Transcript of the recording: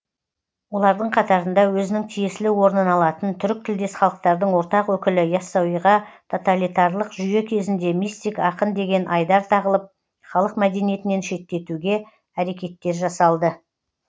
олардың қатарында өзінің тиесілі орнын алатын түрік тілдес халықтардың ортақ өкілі иассауиға тоталитарлық жүйе кезінде мистик ақын деген айдар тағылып халық мәдениетінен шеттетуге әрекеттер жасалды